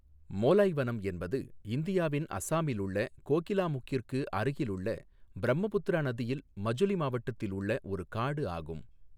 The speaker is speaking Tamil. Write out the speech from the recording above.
மோலாய் வனம் என்பது இந்தியாவின் அசாமில் உள்ள கோகிலாமுக்கிற்கு அருகிலுள்ள பிரம்மபுத்திரா நதியில் மஜுலி மாவட்டத்தில் உள்ள ஒரு காடு ஆகும்.